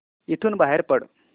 इथून बाहेर पड